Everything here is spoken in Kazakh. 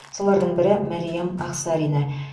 солардың бірі мәриям ақсарина